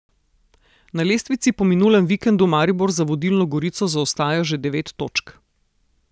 Na lestvici po minulem vikendu Maribor za vodilno Gorico zaostaja že devet točk.